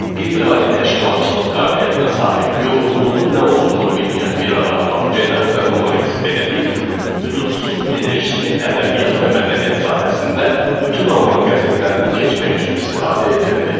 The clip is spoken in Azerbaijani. Qeyri-adi təşkilatçılıq qabiliyyətinə sahib, yorğunluğun nə olduğunu bilməyən bir adam olan redaktor Moritz Benedikt, hüdudsuz enerjisini ədəbiyyat və mədəniyyət sahəsində bütün alman qəzetlərini keçmək üçün istifadə edirdi.